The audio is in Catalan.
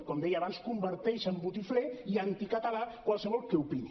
com deia abans converteix en botifler i anticatalà qualsevol que opini